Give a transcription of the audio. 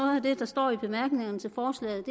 af det der står i bemærkningerne til forslaget